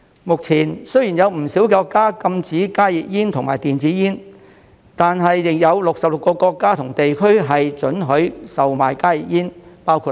目前，雖然有不少國家禁止加熱煙和電子煙，但仍有66個國家和地區准許售賣加熱煙，包括內地。